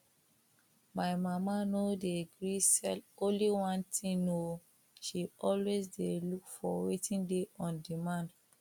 my mama no dey gree sell only one thing oo she always dey look for wetin dey on demand